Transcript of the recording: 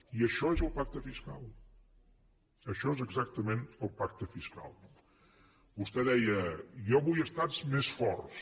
i això és el pacte fiscal això és exactament el pacte fiscal no vostè deia jo vull estats més forts